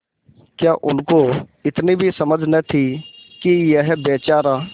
क्या उनको इतनी भी समझ न थी कि यह बेचारा